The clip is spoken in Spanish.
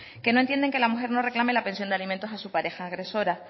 que no entienden que la mujer no reclame la pensión de alimentos a su pareja agresora